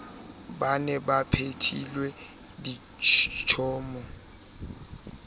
ba ne ba phethelwa ditshomo